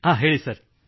ಹಾಂ ಹೇಳಿ ಸರ್